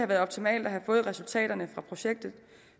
været optimalt at have fået resultaterne fra projektet